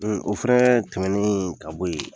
O fɛnɛ tɛmɛnen ka bo ye